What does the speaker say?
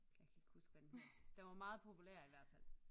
Jeg kan ikke huske hvad den hedder den var meget populær i hvert fald